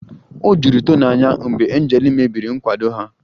O juru Tony anya mgbe Angel mebiri nkwado ha